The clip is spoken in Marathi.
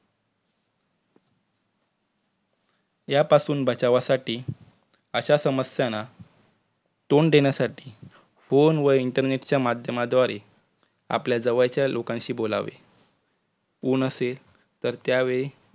यापासून बचावासाठी अशा समस्यांना तोंड देण्यासाठी phone व internet माध्यमाच्याद्वारे आपल्या जवळच्या लोकांशी बोलावे कोण नसेल तर त्या वेळी